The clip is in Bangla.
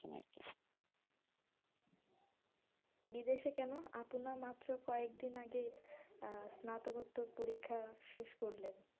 বিদেশে কেন? আপু না মাত্র কয়েকদিন আগে আহ স্নাতকোত্তর পরীক্ষা শেষ করলেন,